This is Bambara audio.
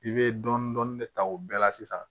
I bɛ dɔɔnin dɔɔnin de ta o bɛɛ la sisan